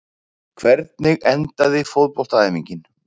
hvernig endaði fótboltaæfingin